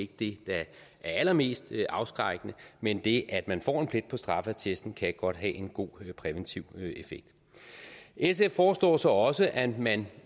det der er allermest afskrækkende men det at man får en plet på straffeattesten kan godt have en god præventiv effekt sf foreslår så også at man